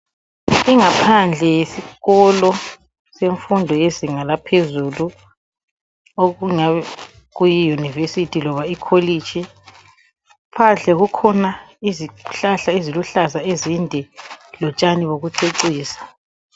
Ingaphandle yesikolo semfundo yezinga laphezulu, okungabe kuyi yunivesithi loba ikholitshi. Phandle kukhona izihlahla eziluhlaza ezinde, lotshani bokucecisa.